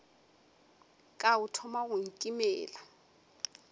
ka o thoma go nkimela